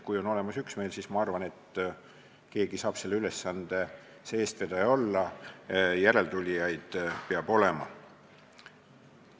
Kui on olemas üksmeel, siis ma arvan, et keegi saab selle ülesande eestvedaja olla, järeltulijaid peab olema.